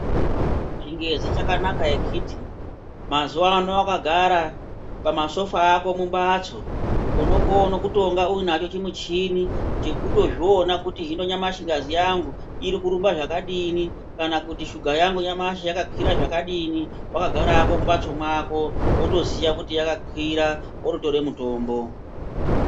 Chingezi chakanaka ichichi mazuvano wakagara pama sofa ako mu mbatso unokona kutonga unacho chi muchini chekutozviona kuti hino nyamashi ngazi yangu iri kurumba zvakadini kana kuti shuga yangu nyamashi yakakwira zvakadini wakagara hako mu mbatso yako woto ziya kuti yaka kwira woto tore mutombo.